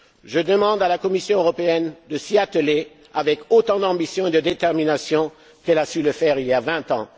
Je demande à la Commission européenne de s'y atteler avec autant d'ambition et de détermination qu'elle a su le faire il y a vingt